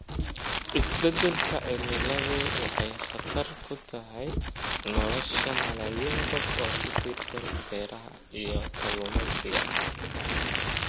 Isbeddelka cimiladu waxay khatar ku tahay nolosha malaayiin qof oo ku tiirsan beeraha iyo kalluumeysiga.